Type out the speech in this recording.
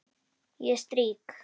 Ég strýk.